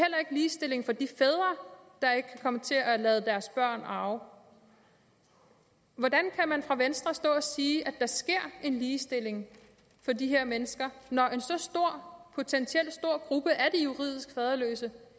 ligestilling for de fædre der ikke kan komme til at lade deres børn arve hvordan kan man fra venstres side stå og sige at der sker en ligestilling for de her mennesker når en så potentielt stor gruppe af juridisk faderløse